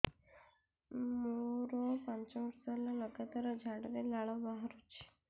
ମୋରୋ ପାଞ୍ଚ ବର୍ଷ ହେଲା ଲଗାତାର ଝାଡ଼ାରେ ଲାଳ ବାହାରୁଚି